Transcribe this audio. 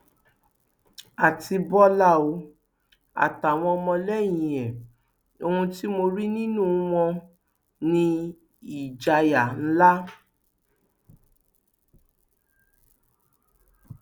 àti bọlá o àtàwọn ọmọlẹyìn ẹ ohun tí mo rí nínú wọn ní ìjayà ńlá